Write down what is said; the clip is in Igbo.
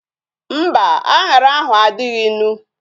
Mba, anyara ahu adịghị ịnụ